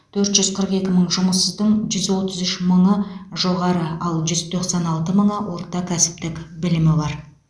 төрт жүз қырық екі мың жұмыссыздың жүз отыз үш мыңы жоғары ал жүз тоқсан алты мыңы орта кәсіптік білімі бар